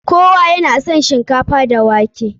Kowa ya na son shinkafa da wake.